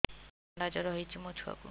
ଥଣ୍ଡା ଜର ହେଇଚି ମୋ ଛୁଆକୁ